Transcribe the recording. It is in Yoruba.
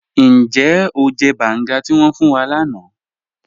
Níjẹ́ o jẹ́ bángá tí wọn fún wà láńà?